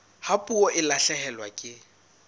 ha puo e lahlehelwa ke